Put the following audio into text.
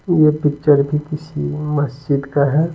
ये पिक्चर भी किसी मस्जिद का है।